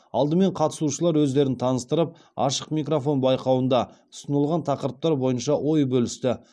алдымен қатысушылар өздерін таныстырып ашық микрофон байқауында ұсынылған тақырыптар бойынша ой бөлісті